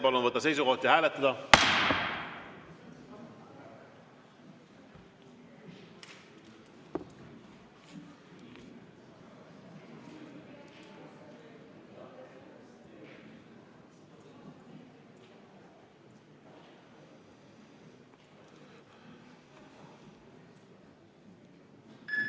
Palun võtta seisukoht ja hääletada!